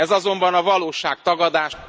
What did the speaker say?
Ez azonban a valóság tagadás...